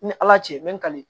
Ni ala cɛ me ngale